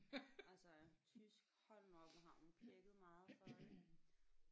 Altså øh tysk hold nu op hvor har hun pjækket meget for det